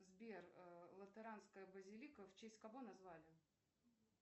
сбер латеранская базилика в честь кого назвали